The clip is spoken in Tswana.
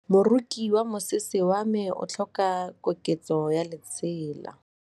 Moroki wa mosese wa me o tlhoka koketsô ya lesela.